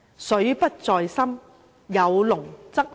水不在深，有龍則靈。